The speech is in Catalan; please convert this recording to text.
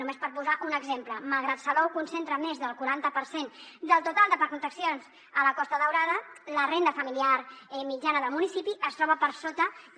només per posar ne un exemple malgrat que salou concentra més del quaranta per cent del total de parcs d’atraccions a la costa daurada la renda familiar mitjana del municipi es troba per sota de